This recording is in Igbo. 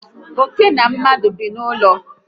Óké na mmadụ bi n'ụlọ